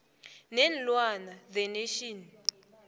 neenlwana the national